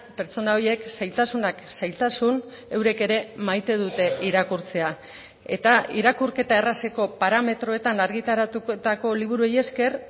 pertsona horiek zailtasunak zailtasun eurek ere maite dute irakurtzea eta irakurketa errazeko parametroetan argitaratutako liburuei esker